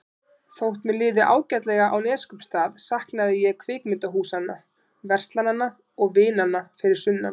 Þótt mér liði ágætlega á Neskaupstað saknaði ég kvikmyndahúsanna, verslananna og vinanna fyrir sunnan.